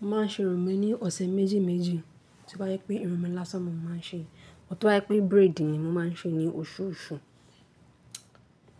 Mo ma n ṣe irun mi ní ọ̀sẹ̀ méjì méjì, toba jé pé irun mi lasán mo ma n ṣe, bó ti bajé pé braid ni mo ma n ṣe ni oṣù oṣù.